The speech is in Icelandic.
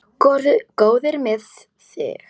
Góður með þig.